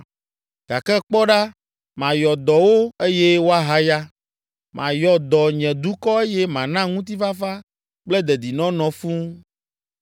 “ ‘Gake kpɔ ɖa mayɔ dɔ wo eye woahaya. Mayɔ dɔ nye dukɔ eye mana ŋutifafa kple dedinɔnɔ fũu.